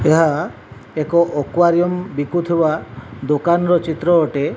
ଏହା ଏକ ଆକ୍ୱାରିୟମ ବିକୁଥିବା ଦୋକାନ ର ଚିତ୍ର ଅଟେ।